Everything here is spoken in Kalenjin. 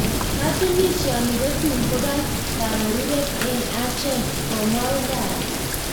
Katunisioni kotun kopaa kaberutet en acheek .komwa uthara